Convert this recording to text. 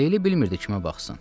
Leyli bilmirdi kimə baxsın.